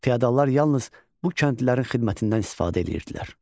Fiodallar yalnız bu kəndlilərin xidmətindən istifadə eləyirdilər.